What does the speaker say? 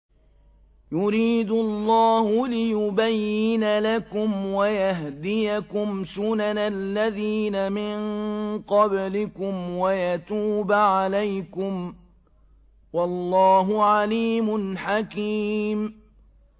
يُرِيدُ اللَّهُ لِيُبَيِّنَ لَكُمْ وَيَهْدِيَكُمْ سُنَنَ الَّذِينَ مِن قَبْلِكُمْ وَيَتُوبَ عَلَيْكُمْ ۗ وَاللَّهُ عَلِيمٌ حَكِيمٌ